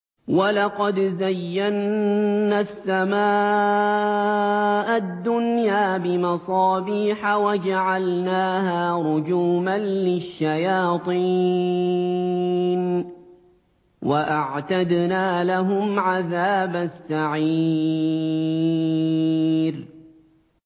وَلَقَدْ زَيَّنَّا السَّمَاءَ الدُّنْيَا بِمَصَابِيحَ وَجَعَلْنَاهَا رُجُومًا لِّلشَّيَاطِينِ ۖ وَأَعْتَدْنَا لَهُمْ عَذَابَ السَّعِيرِ